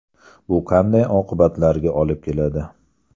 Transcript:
Bu qanday oqibatlarga olib keladi?